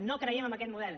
no creiem en aquest model